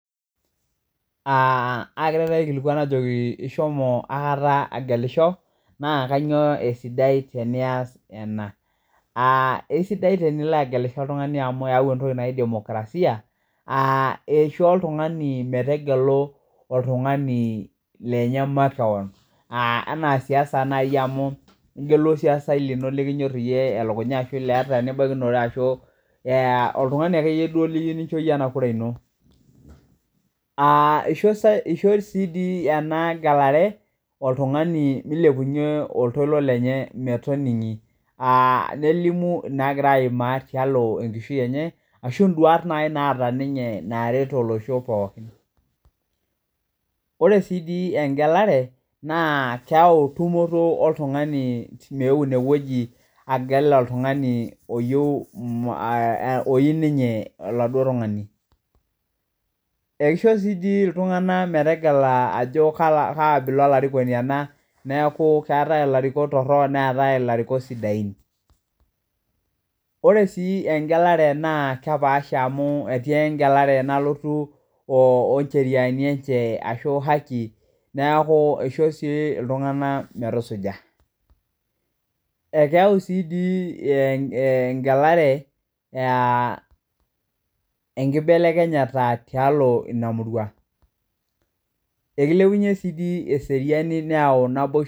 Agira taata aikilikuan ajo ishomo aikata agelisho, naa kainyioo esidai teniyas ena, esidai tenilo agelisho oltungani amuu eyau entoki najii demokrasia, aa eishoo iltungani meetegelu oltungani lenye makeon, anaa siasa naii amuu igelu olsiasai lino likinyorr iyie olokunya ashu lieta libakinore ashu oltungani ake iyie duo liyeu lincho iyie ena kuraa ino. Eisho sii dii ena gelare oltungani meilepunye oltoilo lenye metoning'i, nelimu naagira aimaa tealo enkishui enye ashu induat nai naata ninye, naaret olosho pookin. Ore si dii engelare naa keyau intumoto oltungani meyeu ineweji agel oltungani oyeu, oyeu ninye oladuo tungani. Ekeisho si dii iltungana metegela ajo kaa abila elarikoni ale, naaku keatae larikok torrok neatae, illarikok sidain. Ore sii engelare naa kepaasha amuu etii ngelare nalotu oncheriani enche ashu ahaki naaku keicho sii ltungana metusuja. Ekeyau sii dii ingelare enkibelekenyata tealo inia murua, ekeilepunye sii dii eseriani neau naboisho.